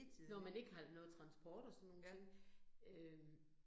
Når man ikke har noget transport og sådan nogle ting, øh